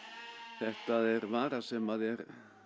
þetta er vara sem er